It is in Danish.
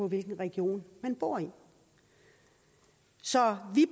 hvilken region man bor i så vi